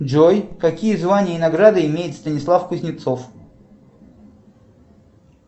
джой какие звания и награды имеет станислав кузнецов